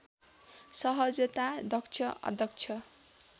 सहजता दक्ष अदक्ष